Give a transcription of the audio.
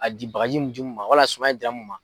A di baji mun di mun ma wala suman in dira